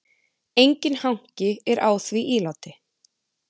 Enginn hanki er á því íláti.